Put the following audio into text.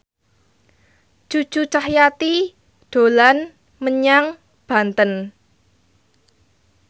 Cucu Cahyati dolan menyang Banten